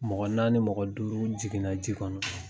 Mɔgɔ naani , mɔgɔ duuru jiginna ji kɔnɔ.